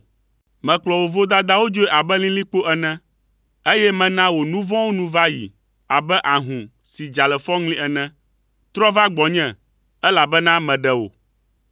Mekplɔ wò vodadawo dzoe abe lilikpo ene, eye mena wò nu vɔ̃wo nu va yi abe ahũ si dza le fɔŋli ene. Trɔ̃ va gbɔnye, elabena meɖe wò.”